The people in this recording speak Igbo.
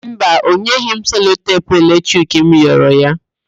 Mba, ọ nyeghị m selotepu eletrik m ghọrọ ya.